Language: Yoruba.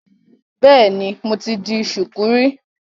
Bẹ́ẹ̀ni, mo ti di ṣùkú rí.